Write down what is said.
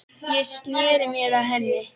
Ég sneri mér að henni.